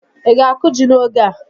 Ị ga-akụ ji n'oge a?